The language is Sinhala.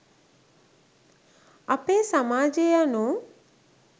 අපේ සමාජය යනු